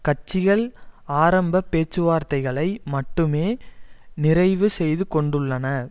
கட்சிகள் ஆரம்ப பேச்சு வார்த்தைகளை மட்டுமே நிறைவு செய்து கொண்டுள்ளன